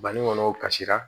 Bani kɔnɔ kasira